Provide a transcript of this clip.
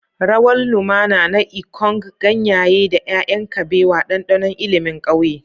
Rawar lumana na ikonng, ganyaye, da 'ya'yan kabewa, ɗanɗanon ilimin ƙauye.